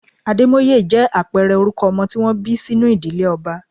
Ademoye jẹ́ àpẹẹrẹ orúkọ ọmọ tí wọ́n bí sínú ìdílé ọba.